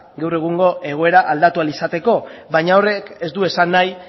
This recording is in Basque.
gaur egungo egoera aldatu ahal izateko baina horrek ez du esan nahi